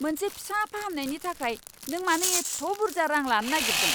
मोनसे फिसा फाहामनायनि थाखाय नों मानो एथ' बुरजा रां लानो नागिरदों?